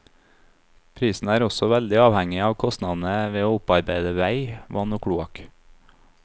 Prisen er også veldig avhengig av kostnadene ved å opparbeide vei, vann og kloakk.